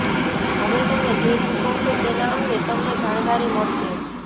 હવે તમે જે ચુકવશો તેના અંગે તમને જાણકારી મળશે